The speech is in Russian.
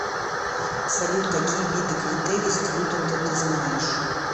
салют какие виды критерий стьюдента ты знаешь